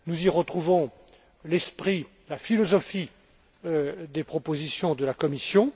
Nous y retrouvons l'esprit, la philosophie des propositions de la Commission.